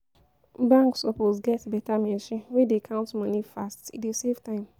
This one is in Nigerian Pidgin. Bank suppose get beta machine wey dey count moni fast, e dey save time.